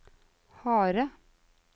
harde